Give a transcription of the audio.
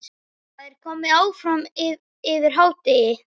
Það var komið fram yfir hádegi.